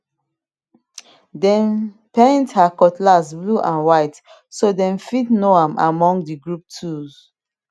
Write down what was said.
dem paint her cutlass blue and white so dem fit know am among the group tools